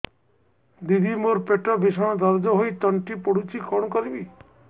ଦିଦି ମୋର ପେଟ ଭୀଷଣ ଦରଜ ହୋଇ ତଣ୍ଟି ପୋଡୁଛି କଣ କରିବି